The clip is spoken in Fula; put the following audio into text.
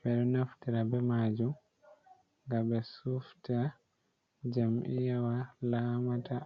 Ɓe ɗo naftira be maajum nga ɓe sufta jam'iyyawa lamata.